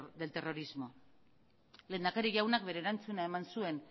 del terrorismo lehendakari jaunak bere erantzuna eman zuen